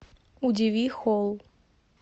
удиви холл